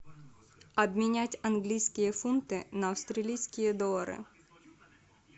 обменять английские фунты на австралийские доллары